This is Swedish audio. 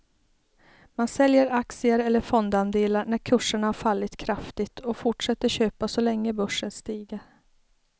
Man säljer aktier eller fondandelar när kurserna har fallit kraftigt och fortsätter köpa så länge börsen stiger.